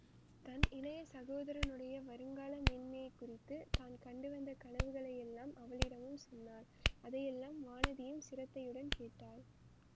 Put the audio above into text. தன் இளைய சகோதரனுடைய வருங்கால மேன்மையைக் குறித்து தான் கண்டு வந்த கனவுகளையெல்லாம் அவளிடமும் சொன்னாள் அதையெல்லாம் வானதியும் சிரத்தையுடன் கேட்டாள்